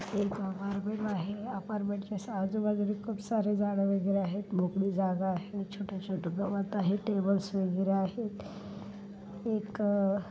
एक आपार्टमेंट आहे apartment जस आजूबाजूनी खूप सारे झाड वगैरे आहेत मोकळी जागा आहे छोटे छोटे गवत आहे टेबल्स वगैरे आहेत. एक अ --